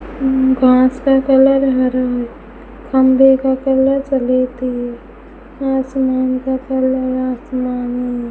घास का कलर हरा है खंभे का कलर सलेटी है आसमान का कलर आसमानी है।